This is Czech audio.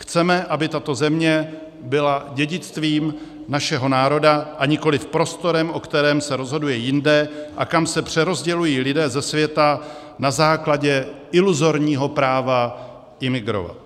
Chceme, aby tato země byla dědictvím našeho národa, a nikoliv prostorem, o kterém se rozhoduje jinde a kam se přerozdělují lidé ze světa na základě iluzorního práva imigrovat.